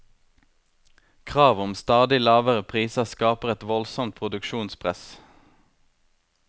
Krav om stadig lavere priser skaper et voldsomt produksjonspress.